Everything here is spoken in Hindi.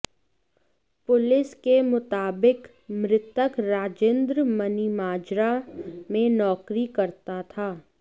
पुलिस के मुताबिक मृतक राजिन्द्र मनीमाजरा में नौकरी करता था